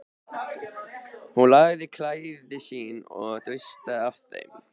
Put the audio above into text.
Hún lagaði klæði sín og dustaði af þeim.